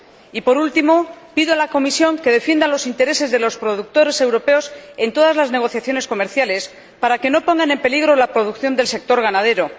Y, por último, pido a la Comisión que defienda los intereses de los productores europeos en todas las negociaciones comerciales, para que no pongan en peligro la producción del sector ganadero.